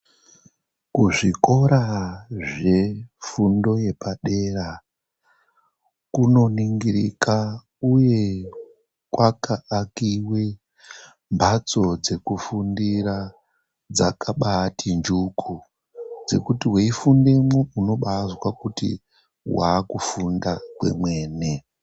Kuzvikora zvefundo yepadera kunoningirika uye kwakaakive mbatso dzekufundira dzakabaati njuku. Dzekuti veifundemwo unobaazwe kuti vaakufunda kwemene.